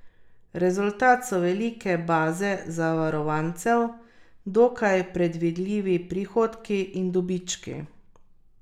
Rezultat so velike baze zavarovancev, dokaj predvidljivi prihodki in dobički.